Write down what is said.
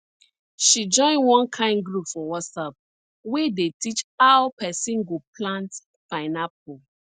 she join one kain group for whatsapp wey dey teach how pesin go plant pineapple